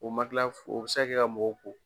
O o bi se ka kɛ ka mɔgɔ ko.